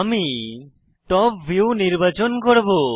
আমি top view নির্বাচন করব